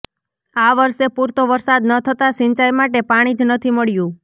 આ વરસે પૂરતો વરસાદ ન થતાં સિંચાઈ માટે પાણી જ નથી મળ્યું